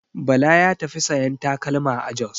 Bala ya tafi sayan takalma a Jos.